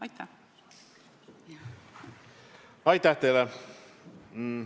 Aitäh teile!